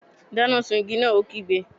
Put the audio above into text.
Dáná sun igi náà! Ó kígbe.